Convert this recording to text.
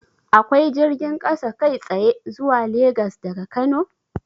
Akwai jirgin kasa kai tsaye zuwa Legas daga Kano?